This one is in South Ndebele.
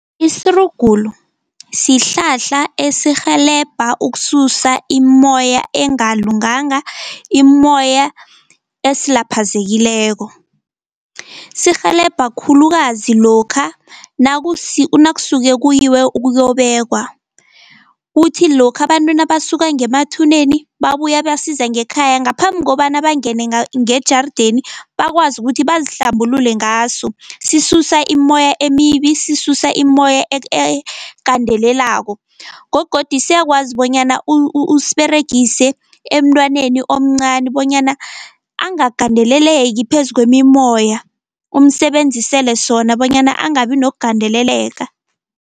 Isirugulu sihlahla esirhelebha ukususa imimoya engalunganga, imimoya esilaphazekileko. Sirhelebha khulukazi lokha nakusuke kuyiwe ukuyobekwa, kuthi lokha abantu nabasuka ngemathuneni babuya basiza ngekhaya, ngaphambi kobana bangene ngejardeni bakwazi ukuthi bazihlambulule ngaso, sisusa imimoya emibi sisusa imimoya egandelelako. Gogodu siyakwazi bonyana usiberegise emntwaneni omncani bonyana angagandeleleki phezu kwemimoya, umsebenzisele sona bonyana angabi nokugandeleleka.